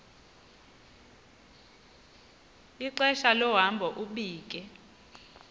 ixesha lohambo ubike